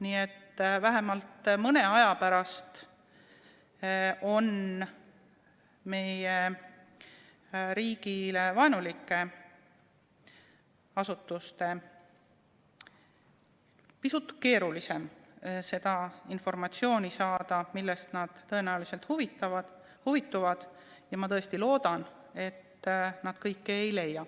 Nii et vähemalt mõne aja pärast on meie riigi suhtes vaenulikel asutustel pisut keerulisem saada seda informatsiooni, millest nad tõenäoliselt huvituvad, ja ma tõesti loodan, et nad kõike ei leia.